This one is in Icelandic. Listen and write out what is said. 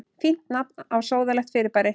Fínt nafn á sóðalegt fyrirbæri.